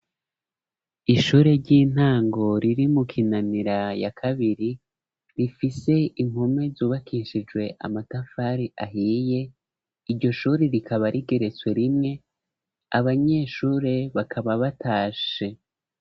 Ishure ry'intango riri mu Kinanira ya kabiri, rifise impome zubakishijwe amatafari ahiye. Iryo shuri rikaba rigeretswe rimwe. Abanyeshuri bakaba batashe.